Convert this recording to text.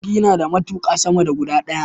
Jirgi nada matuƙa sama da guda daya